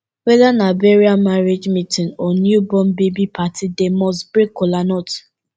weda na burial marriage meetin or new born baby party dem must break kolanut